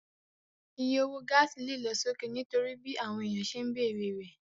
Iye owó gáàsì lè lọ sókè nítorí bí àwọn èèyàn ṣe ń bere rẹ̀